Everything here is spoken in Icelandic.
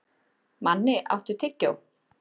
Manni, áttu tyggjó?